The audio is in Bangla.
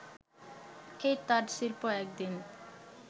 এই তাঁতশিল্প একদিন